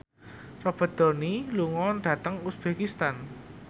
Robert Downey lunga dhateng uzbekistan